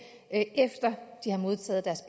efter de har modtaget deres